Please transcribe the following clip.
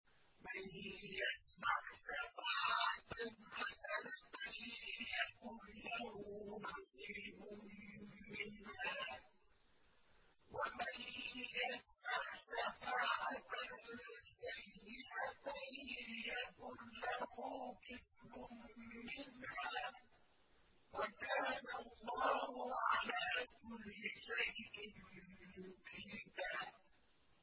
مَّن يَشْفَعْ شَفَاعَةً حَسَنَةً يَكُن لَّهُ نَصِيبٌ مِّنْهَا ۖ وَمَن يَشْفَعْ شَفَاعَةً سَيِّئَةً يَكُن لَّهُ كِفْلٌ مِّنْهَا ۗ وَكَانَ اللَّهُ عَلَىٰ كُلِّ شَيْءٍ مُّقِيتًا